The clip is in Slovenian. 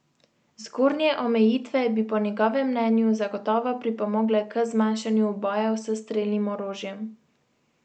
Zgornje omejitve bi po njegovem mnenju zagotovo pripomogle k zmanjšanju ubojev s strelnim orožjem.